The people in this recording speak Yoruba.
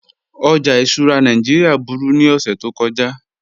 Ọjà ìṣura Nàìjíríà búru ni ọṣẹ̀ tó kọja